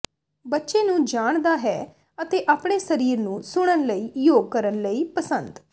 ਬੱਚੇ ਨੂੰ ਜਾਣ ਦਾ ਹੈ ਅਤੇ ਆਪਣੇ ਸਰੀਰ ਨੂੰ ਸੁਣਨ ਲਈ ਯੋਗ ਕਰਨ ਲਈ ਪਸੰਦ